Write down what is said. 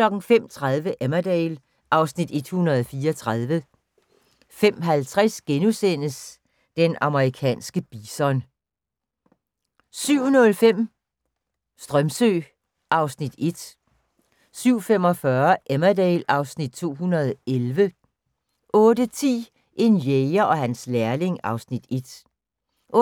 05:30: Emmerdale (Afs. 134) 05:50: Den amerikanske bison * 07:05: Strömsö (Afs. 1) 07:45: Emmerdale (Afs. 211) 08:10: En jæger og hans lærling (Afs. 1) 08:25: